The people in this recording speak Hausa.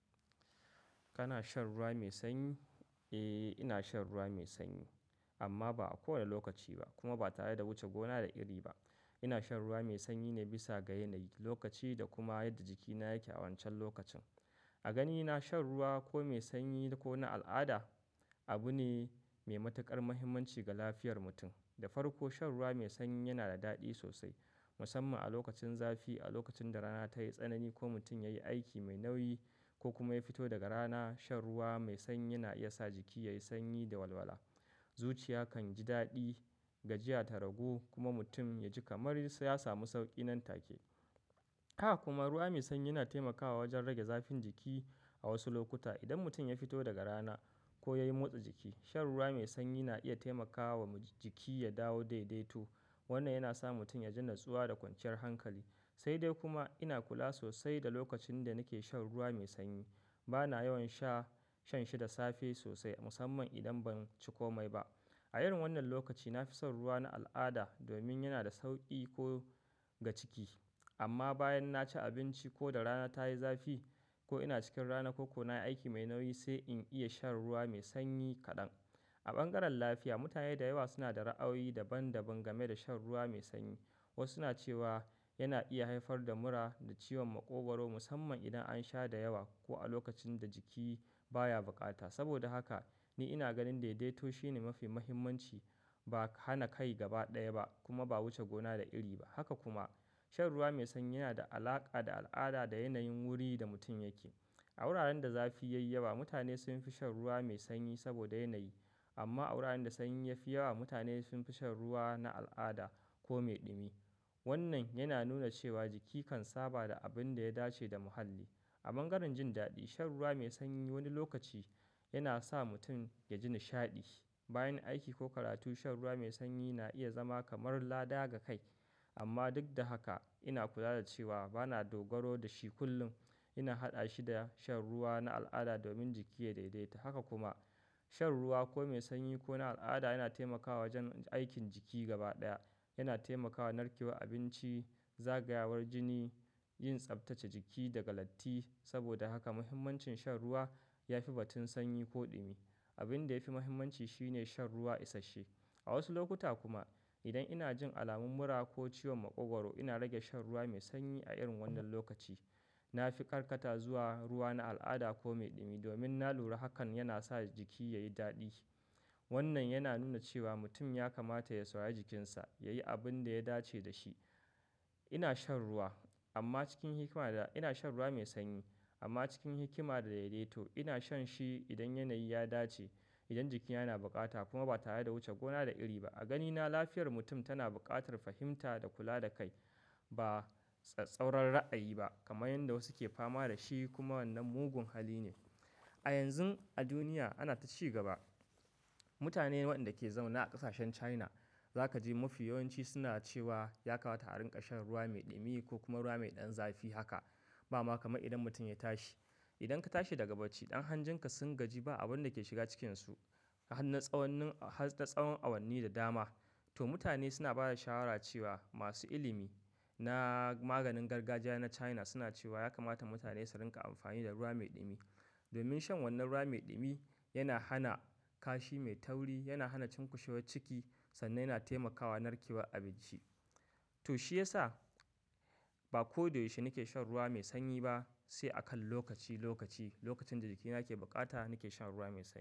Kana shan ruwa mai sanyi? Eh, ina shan ruwa mai sanyi amma ba a kowane lokaci ba kuma ba tare da wuce gona da iri ba. Ina shan ruwa mai sanyi ne bisa ga yanayi, lokaci da kuma yadda jikina yake awancan lokacin. A ganina shan ruwa ko mai sanyi ko na al'ada abu ne mai matuƙar muhimmanci ga lafiyar mutum. Da farko shan ruwa mai sanyi yana da daɗi sosai musamman a lokacin zafi, a lokacin da rana tayi tsanani ko mutum yayi aiki mai nauyi ko kuma ya fito daga rana. Shan ruwa mai sanyi na iya sa jiki yayi sanyi da walwala. Zuciya kan ji daɗi, gajiya ta ragu kuma mutum ya ji kamar sai ya samu sauƙi nan take. Haka kuma ruwa mai sanyi yana taimakawa wajen rage zafin jiki. A wasu lokuta idan mutum ya fito daga rana ko yayi motsa jiki, shan ruwa mai sanyi na iya taimakawa jiki ya dawo daidaito. Wannan yana sa mutum ya ji natsuwa da kwanciyar hankali. Sai dai kuma ina kula sosai da lokacin da nake shan ruwa mai sanyi. A wasu lokuta idan mutum ya fito daga rana ko yayi motsa jiki, shan ruwa mai sanyi na iya taimakawa jiki ya dawo daidaito. Ba na yawan sha- shan shi da safe sosai musamman idan ban ci komai ba. Haka kuma ruwa mai sanyi yana taimakawa wajen rage zafin jiki da da en sauransu. A wasu lokuta idan mutum ya fito daga rana ko yayi motsa jiki, shan ruwa mai sanyi na iya taimakawa jiki ya dawo daidaito. Ba na yawan sha- shan shi da safe sosai musamman idan ban ci komai ba. A irin wannan lokaci nafi shan ruwa na al'ada domin yana da sauƙi ko ga ciki. Ba hana kai gaba ɗaya ba kuma ba wuce gona da iri ba. Amma bayan na ci abinci ko da rana tayi zafi ko ina cikin rana ko kuna aiki mai nauyi sai in iya shan ruwa mai sanyi kaɗan. A wuraren da zafi ya yi yawa mutane sun fi shan ruwa mai sanyi saboda yanayi. A bangaren lafiya mutane da yawa suna da ra'ayi daban daban game da shan ruwa mai sanyi. Wasu na cewa yana iya haifar da mura da ciwon maƙogwaro musamman idan an sha da yawa ko a lokacin da jiki baya bukata. A bangaren jin daɗi shan ruwa mai sanyi wani lokaci yana sa mutum ya ji nishaɗi. Bayan aiki ko karatu shan ruwa mai sanyi na iya zama kamar ladaga kai. Saboda haka ni ina ganin daidaito shine mafi muhimmanci. Haka kuma shan ruwa mai sanyi yana da alaƙa da al'ada da yanayin wurin da mutum yake. Sabida ya kan taimaka amma a wuraren da sanyi ya fi yawa mutane sun fi shan ruwa na al'ada ko mai ɗumi. Abin da yafi muhimmanci shine shan ruwa isashe. A wasu lokuta kuma idan ina jin alamun mura ko ciwon maƙogwaro ina rage shan ruwa mai sanyi. Wannan yana nuna cewa jiki kan saba da abin da ya dace da muhalli. Amma duk da haka ina kula da cewa ba na dogaro da shi kullum. Ina haɗa shi da shan ruwa na al'ada domin jiki yayi daidai. Haka kuma shan ruwa ko mai sanyi ko na al'ada yana taimakawa jan aikin jiki gaba ɗaya. Yana taimakawa narkewar abinci, zagayawar jini, yin tsaftace jiki daga latti. Ina shan shi idan yanayi ya dace, idan jikina yana bukata kuma ba tare da wuce gona da iri ba. Saboda haka muhimmancin shan ruwa ya fi batun sanyi ko ɗumi. Don ya kamata a sha shi don kashe sanya da mutum A irin wannan lokaci nafi shan ruwa na al'ada domin yana da sauƙi ko ga ciki. A yanzun duniya ana ta ci gaba. Kuma yana da matukar amfani mutane su yi kokari Mutane waɗanda ke zaune a ƙasashen China zaka ji mafi yawanci suna cewa ya kamata a riƙa shan ruwa mai ɗumi ko kuma ruwa mai ɗan zafi haka. Ba ma kamar idan mutum ya tashi. Ya Kamata da safe in ka tashi idan ka tashi daga bacci ɗan hanjinka sun gaji ba abin da ke shiga cikinsu har na tsawon-- har na tsawon awanni da dama. Domin shan wannan ruwa mai ɗumi yana hana kashi mai tauri, yana hana cunkushewar ciki sannan yana taimakawa narkewar abinci. To mutane suna ba da shawara cewa masu ilimi na maganin gargajiya na China suna cewa ya kamata mutane su riƙa amfani da ruwa mai ɗumi. To shiyasa ba koyaushe nake shan ruwa mai sanyi ba sai akan lokaci lokaci.